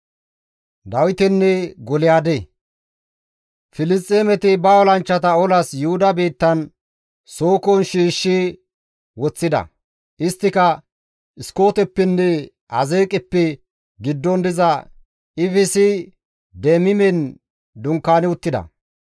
Filisxeemeti ba olanchchata olas Yuhuda biittan Sookon shiishshi woththida; isttika Iskooteppenne Azeeqeppe giddon diza Efsi-Deemimen dunkaani uttida.